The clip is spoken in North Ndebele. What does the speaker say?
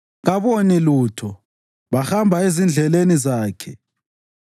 Kaboni lutho; bahamba ezindleleni zakhe.